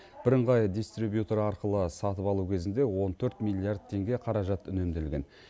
бірыңғай дистрибьютор арқылы сатып алу кезінде он төрт миллиард теңге қаражат үнемделген